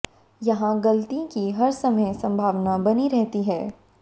यहां गलती की हर समय संभावना बनी रहती है